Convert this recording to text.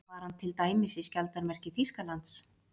Var hann til dæmis í skjaldarmerki Þýskalands?